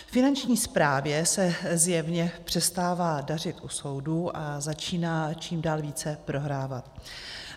Finanční správě se zjevně přestává dařit u soudů a začíná čím dál více prohrávat.